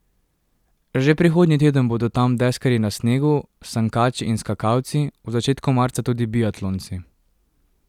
Že prihodnji teden bodo tam deskarji na snegu, sankači in skakalci, v začetku marca tudi biatlonci.